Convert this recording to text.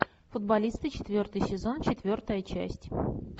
футболисты четвертый сезон четвертая часть